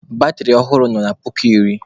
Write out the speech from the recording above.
Batịrị ọhụrụ nọ na puku iri.